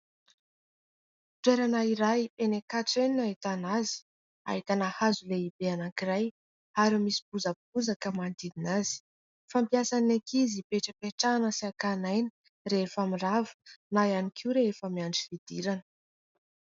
Toerana iray enỳ Ankatso enỳ no ahitana azy. Ahitana hazo lehibe anankiray ary misy bozabozaka manodidina azy. Fampiasa ny ankizy ipetrapetrahana sy ankana aina rehefa mirava na ihany koa rehefa miandry fidirana.